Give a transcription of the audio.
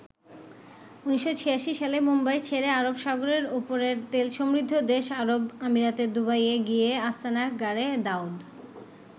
১৯৮৬ সালে মুম্বাই ছেড়ে আরব সাগরের ওপারের তেলসমৃদ্ধ দেশ আরব আমিরাতের দুবাইয়ে গিয়ে আস্তানা গাড়ে দাউদ।